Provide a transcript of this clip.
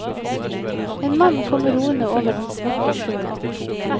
En mann kommer roende over den svarte sjøen.